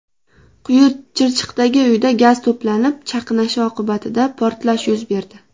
Quyichirchiqdagi uyda gaz to‘planib chaqnashi oqibatida portlash yuz berdi.